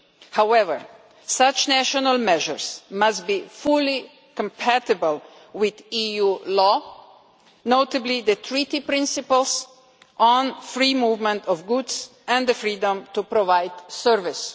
However, such national measures must be fully compatible with EU law, notably the Treaty principles on free movement of goods and the freedom to provide services.